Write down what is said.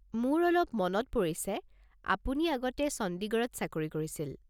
মোৰ অলপ অলপ মনত পৰিছে, আপুনি আগতে চণ্ডীগড়ত চাকৰি কৰিছিল।